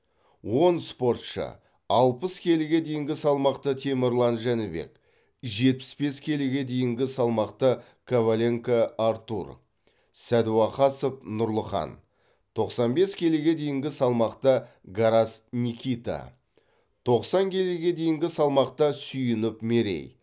он спортшы алпыс келіге дейінгі салмақта темірлан жәнібек жетпіс бес келіге дейінгі салмақта коваленко артур сәдуақасов нұрлыхан тоқсан бес келіге дейінгі салмақта гарас никита тоқсан келіге дейінгі салмақта сүйінов мерей